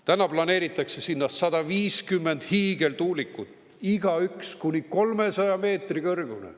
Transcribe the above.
Täna planeeritakse sinna 150 hiigeltuulikut, igaüks kuni 300 meetri kõrgune.